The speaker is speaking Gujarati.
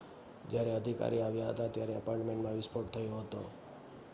જ્યારે અધિકારી આવ્યા હતા ત્યારે એપાર્ટમેન્ટમાં વિસ્ફોટ થયો હતો